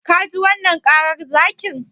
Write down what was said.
Ka ji wannan karar zakin?